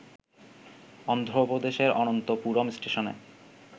অন্ধ্রপ্রদেশের অনন্তপুরম স্টেশনে